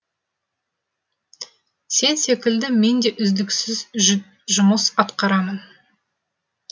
сен секілді мен де үздіксіз жұмыс атқарамын